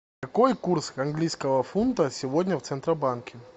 какой курс английского фунта сегодня в центробанке